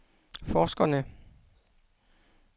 forskerne